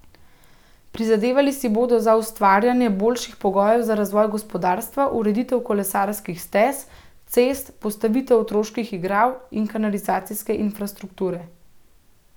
Prizadevali si bodo za ustvarjanje boljših pogojev za razvoj gospodarstva, ureditev kolesarskih stez, cest, postavitev otroških igral in kanalizacijske infrastrukture.